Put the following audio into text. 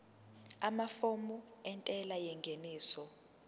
amafomu entela yengeniso